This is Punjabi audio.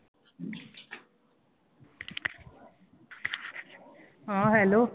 ਹਾਂ hello